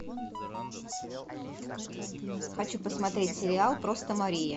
хочу посмотреть сериал просто мария